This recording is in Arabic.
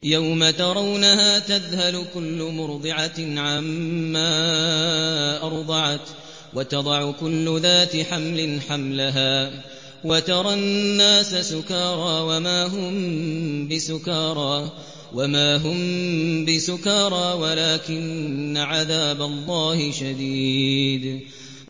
يَوْمَ تَرَوْنَهَا تَذْهَلُ كُلُّ مُرْضِعَةٍ عَمَّا أَرْضَعَتْ وَتَضَعُ كُلُّ ذَاتِ حَمْلٍ حَمْلَهَا وَتَرَى النَّاسَ سُكَارَىٰ وَمَا هُم بِسُكَارَىٰ وَلَٰكِنَّ عَذَابَ اللَّهِ شَدِيدٌ